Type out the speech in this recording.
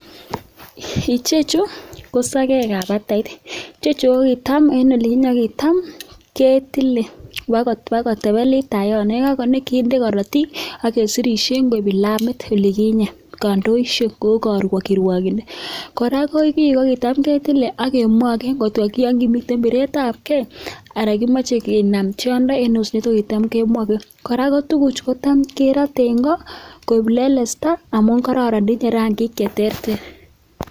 Ichechu ko sakek ab batait ichechu tam en oliginyen kokitam ketile koba kolebelit ta yono ayikano kende karatik agesirishe kou kilamit oliginyen kandoishek kou kirwakindet kora ko kii kokitam ketile ak kemwage komiten biret ab gei ana kemache inam tyondo en osnet kokitam kemwage kota kerate en go koib lelesta amun kororon akoinye rangik cheterter